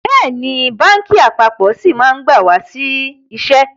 Bẹ́ẹ̀ni, báńkì àpapọ̀ sì máa gba wá sí iṣẹ́